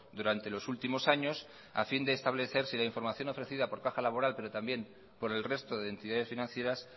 durante los últimos años a fin de establecer si la información ofrecida por caja laboral pero también por el resto de entidades financieras